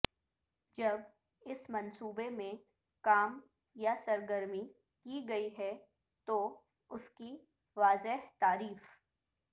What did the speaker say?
جب اس منصوبے میں کام یا سرگرمی کی گئی ہے تو اس کی واضح تعریف